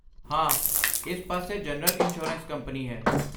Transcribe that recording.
ਹਾਂ, ਇਸ ਪਾਸੇ ਜਨਰਲ ਇੰਸ਼ੋਰੈਂਸ ਕੰਪਨੀ ਹੈ।